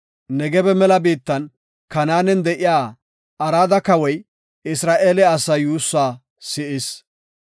Negebe mela biittan Kanaanen de7iya Arada Kawoy Isra7eele asaa yuussaa si7is.